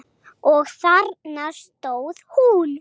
Og þarna stóð hún.